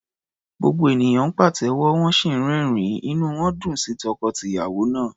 Gbogbo ènìyàn ń pàtẹ́wọ́, wọ́n sì ń rẹ́rìn-ín, inú wọn dùn sí tọkọ-tìyàwó náà.